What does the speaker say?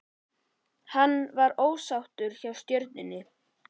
Var hann ósáttur hjá Stjörnunni?